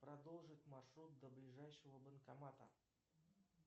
продолжить маршрут до ближайшего банкомата